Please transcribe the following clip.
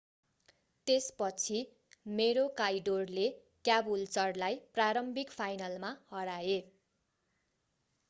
त्यसपछि Maroochydore maroochydoreले Caboolture Caboolture cabooltureलाई प्रारम्भिक फाइनलमा हराए।